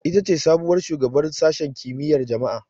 Ita ce sabuwar shugabar Sashen Kimiyyar Jama'a.